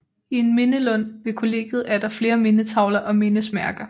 I en mindelund ved kollegiet er der flere mindetavler og mindesmærker